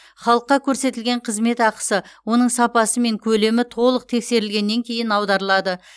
халыққа көрсетілген қызмет ақысы оның сапасы мен көлемі толық тексерілгеннен кейін аударылады